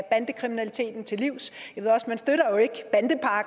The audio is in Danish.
bandekriminaliteten til livs